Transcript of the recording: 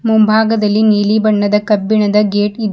ಮುಂಭಾಗದಲ್ಲಿ ನೀಲಿ ಬಣ್ಣದ ಕಬ್ಬಿಣದ ಗೇಟ್ ಇದೆ.